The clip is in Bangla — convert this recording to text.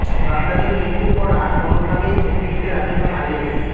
বাগদাদির মৃত্যুর পর আর কোনওভাবেই ঝুঁকি নিতে রাজি নয় আইএস